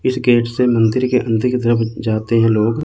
इस गेट से मंदिर के अंदर की तरफ जाते हैं लोग।